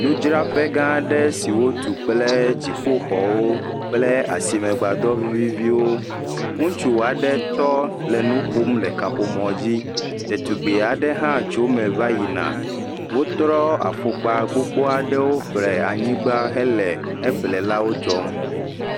Nudzraƒe gã aɖe si wotu kple dzɔƒoxɔwo kple asime gbadɔ viviviwo, ŋutsu aɖe tɔ le nu ƒom le kaƒomɔ dzi, ɖetugbui aɖe hã tso eme va yina, wotrɔ afɔkpa gbogbo aɖewo ƒo ɖe anyigba hele eƒlelawo dzɔm.